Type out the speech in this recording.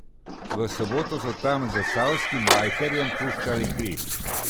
V soboto so tam zasavskim bajkerjem puščali kri.